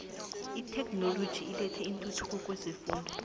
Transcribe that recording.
itheknoloji ilethe intuthuko kwezefundo